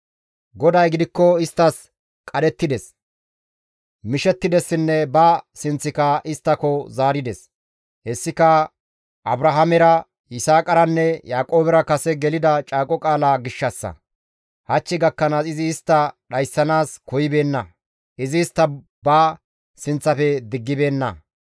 GODAY gidikko isttas qadhettides, mishettidessinne ba sinththika isttako zaarides. Hessika Abrahaamera, Yisaaqaranne Yaaqoobera kase gelida caaqo qaala gishshassa. Hach gakkanaas izi istta dhayssanaas koyibeenna; izi istta ba sinththafe diggibeenna.